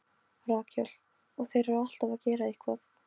Rakel: Og þeir eru alltaf að gera eitthvað.